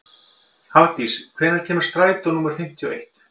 Hafdís, hvenær kemur strætó númer fimmtíu og eitt?